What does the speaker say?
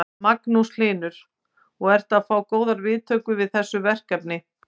Magnús Hlynur: Og ertu að fá góðar viðtökur við þessu verkefni?